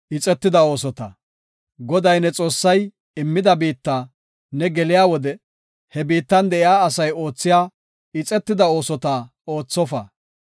Goday ne Xoossay immida biitta ne geliya wode he biittan de7iya asay oothiya ixetida oosota oothofa.